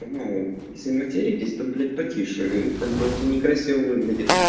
если материтесь блять потише как бы это не красиво